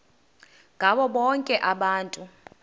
ngabo bonke abantu